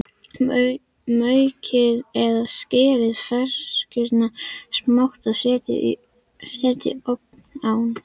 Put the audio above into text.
Maukið eða skerið ferskjurnar smátt og setjið ofan á.